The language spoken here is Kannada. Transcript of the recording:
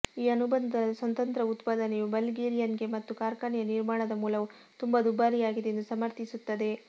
ಈ ಅನುಬಂಧದ ಸ್ವತಂತ್ರ ಉತ್ಪಾದನೆಯು ಬಲ್ಗೇರಿಯನ್ಗೆ ಮತ್ತು ಕಾರ್ಖಾನೆಯ ನಿರ್ಮಾಣದ ಮೂಲವು ತುಂಬಾ ದುಬಾರಿಯಾಗಿದೆ ಎಂದು ಸಮರ್ಥಿಸುತ್ತದೆ